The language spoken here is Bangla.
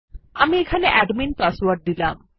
আমি এখানে অ্যাডমিন পাসওয়ার্ড দিলাম